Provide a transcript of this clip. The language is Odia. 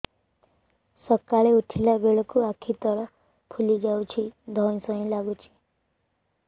ସକାଳେ ଉଠିଲା ବେଳକୁ ଆଖି ତଳ ଫୁଲି ଯାଉଛି ଧଇଁ ସଇଁ ଲାଗୁଚି